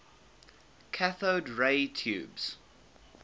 cathode ray tubes